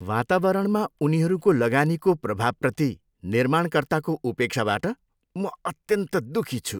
वातावरणमा उनीहरूको लगानीको प्रभावप्रति निर्माणकर्ताको उपेक्षाबाट म अत्यन्त दुखी छु।